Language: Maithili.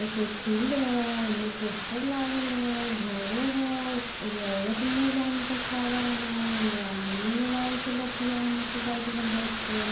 इ कोई फील्ड हेय हेमा पोस्टर लागल होय घर होय एगो औरत मुंह बांध के खड़ा होय एगो आदमी मोबाइल से बतियाय मोटरसाइकिल पे बैठ के--